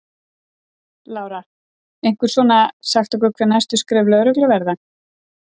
Lára: Einhver svona, sagt okkur hver næstu skref lögreglu verða?